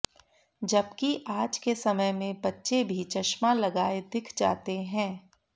जबकि आज के समय में बच्चे भी चश्मा लगाए दिख जाते हैं